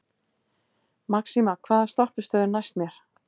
Maxima, hvaða stoppistöð er næst mér?